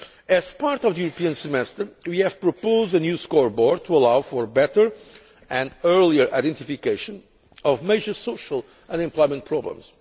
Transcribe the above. As part of the European Semester, we have proposed a new scoreboard to allow for better and earlier identification of major social and employment problems.